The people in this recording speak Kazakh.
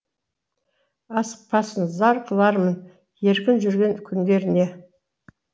асықпасын зар қылармын еркін жүрген күндеріне